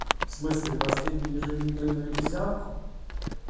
в смысле последнюю еженедельную десятку